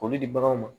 K'olu di baganw ma